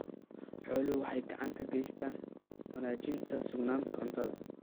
Xooluhu waxay gacan ka geystaan ??wanaajinta sugnaanta cuntada.